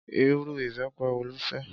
Irú ìbẹpẹ wo lo fẹ́?